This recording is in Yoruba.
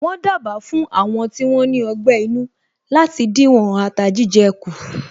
Wọ́n dábàá fún Àwọn tí wón ní ọgbé inú láti díwọ̀n ata jíjẹ kù